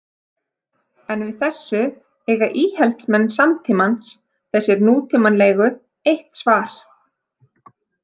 En við þessu eiga íhaldsmenn samtímans, þessir nútímalegu, eitt svar.